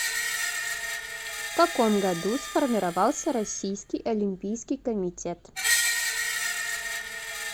в каком году сформировался российский олимпийский комитет